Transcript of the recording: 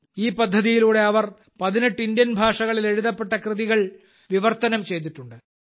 ഈ പദ്ധതിയിലൂടെ അവർ 18 ഭാരതീയ ഭാഷകളിൽ എഴുതപ്പെട്ട കൃതികൾ വിവർത്തനം ചെയ്തിട്ടുണ്ട്